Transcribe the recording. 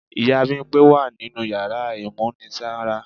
Ìyá Bimpé wa ninú yàrá ìmúnisanra.